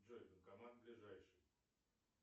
джой банкомат ближайший